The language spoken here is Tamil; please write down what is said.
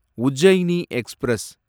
உஜ்ஜைனி எக்ஸ்பிரஸ்